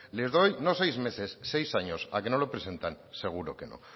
les doy no seis meses seis años a que no lo presentan seguro que no